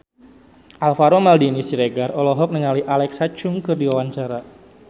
Alvaro Maldini Siregar olohok ningali Alexa Chung keur diwawancara